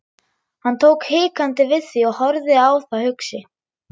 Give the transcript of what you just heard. Hann tók hikandi við því og horfði á það hugsi.